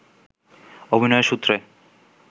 অভিনয়ের সূত্রে